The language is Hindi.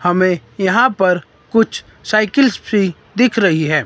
हमें यहां पर कुछ साइकिल्स फ्री दिख रही हैं।